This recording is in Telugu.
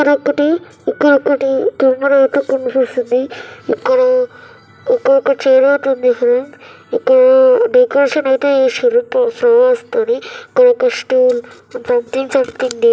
ఇక్కడ ఒకటి ఇక్కడ ఒకటి కెమెరా ఐతే కనిపిస్తుంది. ఇక్కడ ఇక్కడ ఒక చైర్ ఐతే ఉంది ఫ్రెండ్ ఇక్కడ డెకరేషన్